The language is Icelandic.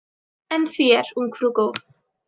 En þér, ungfrú góð?